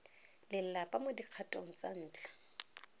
lelapa mo dikgatong tsa ntlha